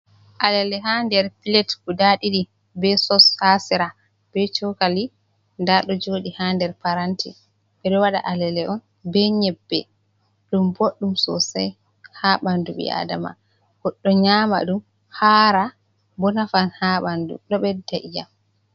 Alele ha nder pilet guda ɗiɗi be sos ha sera be chokali nda ɗo joɗi ha nder paranti. Ɓe ɗo wada alale on be nyebbe. Ɗum boɗɗum sosai ha ɓandu ɓi Adama. Goɗɗo nyama ɗum, hara bo nafan ha ɓandu ɗo ɓedda iyam.